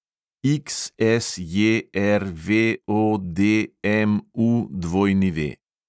XSJRVODMUW